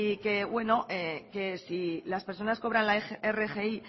que si las personas cobran la rgi